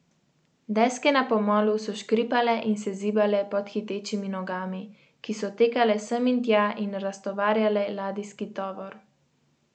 Deske na pomolu so škripale in se zibale pod hitečimi nogami, ki so tekale sem in tja in raztovarjale ladijski tovor.